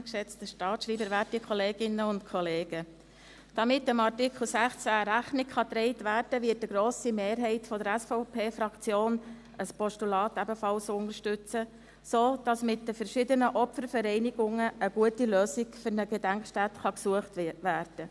Damit dem Artikel 16 Rechnung getragen werden kann, wird eine grosse Mehrheit der SVP-Fraktion ein Postulat ebenfalls unterstützen, damit mit den verschiedenen Opfervereinigungen eine gute Lösung für eine Gedenkstätte gesucht werden kann.